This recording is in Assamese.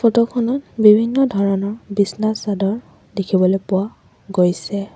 ফটো খনত বিভিন্ন ধৰণৰ বিচনা চাদৰ দেখিবলৈ পোৱা গৈছে।